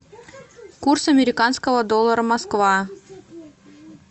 курс американского доллара москва